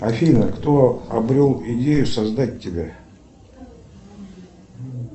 афина кто обрел идею создать тебя